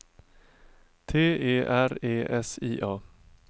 T E R E S I A